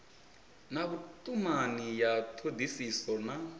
na vhutumani ya thodisiso na